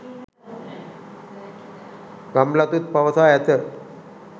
ගම්ලතුන් පවසා ඇත